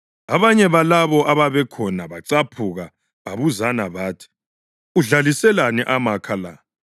Abanye balabo ababekhona bacaphuka babuzana bathi, “Udlaliselani amakha la?